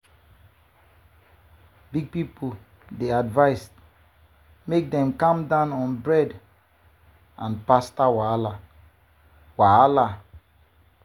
big people dey advised make dem calm down on bread and pasta wahala. wahala.